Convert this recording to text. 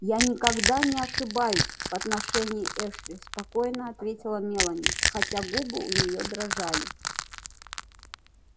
я никогда не ошибаюсь в отношении эшли спокойно ответила мелани хотя губы у неё дрожали